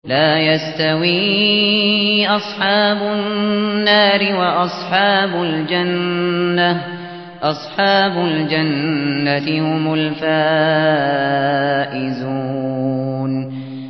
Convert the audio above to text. لَا يَسْتَوِي أَصْحَابُ النَّارِ وَأَصْحَابُ الْجَنَّةِ ۚ أَصْحَابُ الْجَنَّةِ هُمُ الْفَائِزُونَ